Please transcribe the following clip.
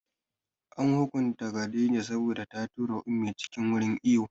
An hukunta Khadijah saboda ta tura Ummi cikin wurin iwo